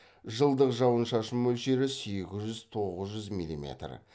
жылдық жауын шашын мөлшері сегіз жүз тоғыз жүз миллиметр